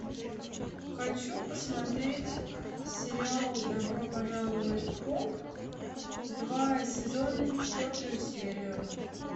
хочу посмотреть сериал добро пожаловать в поп два сезон четвертую серию